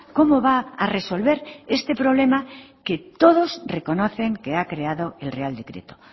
cómo va a resolver este problema que todos reconocen que ha creado el real decreto